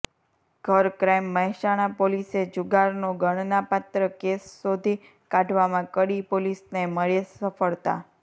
ઘર ક્રાઈમ મહેસાણા પોલીસે જુગારનો ગણનાપાત્ર કેસ શોધી કાઢવામાં કડી પોલીસને મળેલ સફળતા